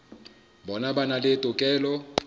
bona ba na le tokelo